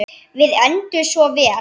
Við enduðum svo vel.